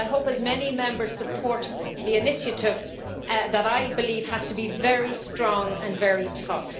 I hope as many Members support the initiative, which I believe has to be very strong and very tough.